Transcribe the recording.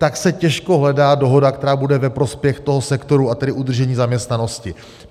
Tak se těžko hledá dohoda, která bude ve prospěch toho sektoru, a tedy udržení zaměstnanosti.